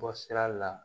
Bɔ sira la